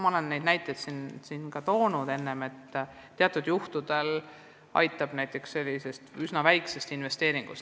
Ma olen neid näiteid siin juba toonud, et vahel piisab üsna väikese summa eraldamisest.